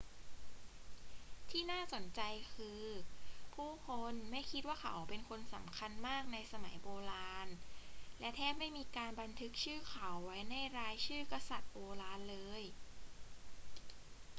ที่น่าสนใจคือ ผู้คนไม่คิดว่าเขาเป็นคนสำคัญมากในสมัยโบราณ และแทบไม่มีการบันทึกชื่อเขาไว้ในรายชื่อกษัตริย์โบราณเลย